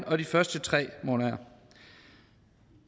og de første tre måneder